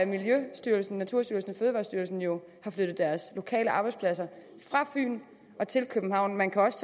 miljøstyrelsen naturstyrelsen og fødevarestyrelsen har jo flyttet deres lokale arbejdspladser fra fyn til københavn man kan også